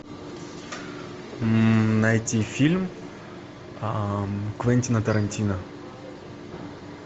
найти фильм квентина тарантино